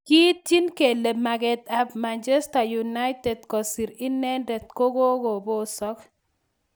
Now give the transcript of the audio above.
Kiityin kele maget ab Manchester United kosir inendet kogobosok.